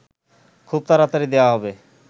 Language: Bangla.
খুব তাড়াতাড়ি দেয়া হবে